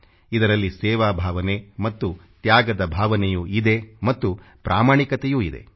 ಇದರಲ್ಲಿ ಸೇವಾ ಭಾವನೆ ಮತ್ತು ತ್ಯಾಗದ ಭಾವನೆಯೂ ಇದೆ ಮತ್ತು ಪ್ರಾಮಾಣಿಕತೆಯೂ ಇದೆ